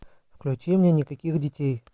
включи мне никаких детей